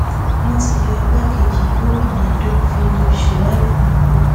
wọn ti yọ igbákejì gómìnà edo philip shuaib nípò